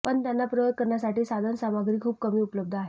पण त्यांना प्रयोग करण्यासाठी साधनसामग्री खूप कमी उपलब्ध आहे